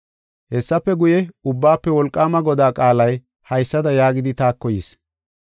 Hessafe guye, Ubbaafe Wolqaama Godaa qaalay haysada yaagidi taako yis: